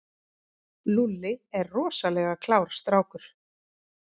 Lúlli er rosalega klár strákur.